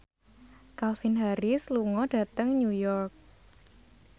Calvin Harris lunga dhateng New York